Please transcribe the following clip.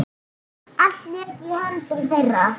Allt lék í höndum þeirra.